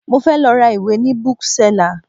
Mo fẹ́ lọ ra ìwé ni Bookseller